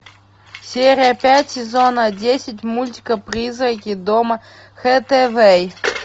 серия пять сезона десять мультика призраки дома хатэвэй